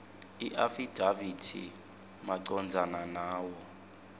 iafidavithi macondzana nawo